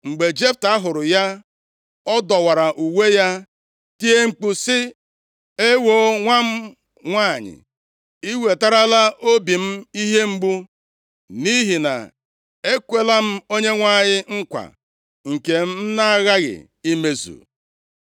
Mgbe Jefta hụrụ ya, ọ dọwara uwe ya, tie mkpu sị, “Ewoo, nwa m nwanyị! I wetarala obi m ihe mgbu, nʼihi na ekwela m Onyenwe anyị nkwa, nke m na-aghaghị imezu.”